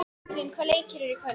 Katrín, hvaða leikir eru í kvöld?